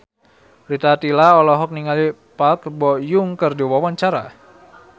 Rita Tila olohok ningali Park Bo Yung keur diwawancara